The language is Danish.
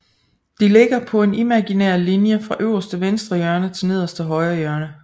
De ligger på en imaginær linje fra øverste venstre hjørne til nederste højre hjørne